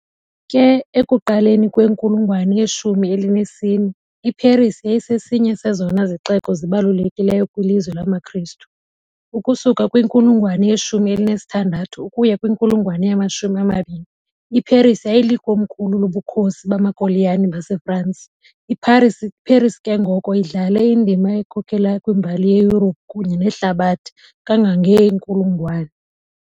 Ke, ekuqaleni kwenkulungwane yeshumi elinesine, iParis yayisesinye sezona zixeko zibalulekileyo kwilizwe lamaKristu. Ukusuka kwinkulungwane ye-16 ukuya kwinkulungwane yama-20, iParis yayilikomkhulu loBukhosi bamaKoloniyali baseFrance. IParis ke ngoko idlale indima ekhokelayo kwimbali yeYurophu kunye nehlabathi kangangeenkulungwane.